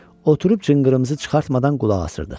Oturub cınqırımızı çıxartmadan qulaq asırdıq.